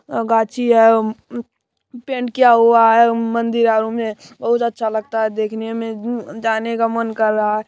गाछी है पैंट किया हुआ है मंदिर आरो में बहुत अच्छा लगता है देखने में जाने का मन कर रहा है।